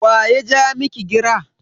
Wa ya ja miki gira?